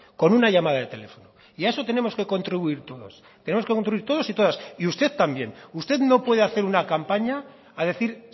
con una llamada de teléfono y a esto tenemos que contribuir todos tenemos que contribuir todos y todas y usted también usted no puede hacer una campaña a decir